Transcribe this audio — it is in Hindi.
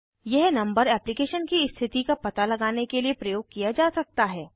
यह नंबर एप्लीकेशन की स्थिति का पता लगाने के लिए प्रयोग किया जा सकता है